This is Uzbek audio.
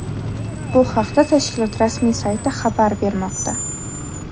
Bu haqda tashkilot rasmiy sayti xabar bermoqda.